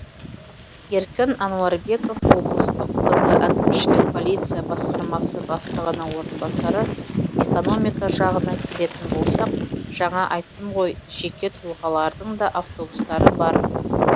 еркін ануарбеков облыстық пд әкімшілік полиция басқармасы бастығының орынбасары экономика жағына келетін болсақ жаңа айттым ғой жеке тұлғалардың да автобустары бар